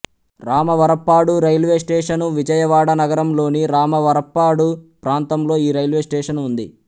Ramavarappadu railway station Vijayawada నగరం లోని రామవరప్పాడు ప్రాంతంలో ఈ రైల్వే స్టేషను ఉంది